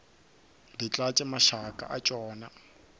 di tlatše mašaka a tšona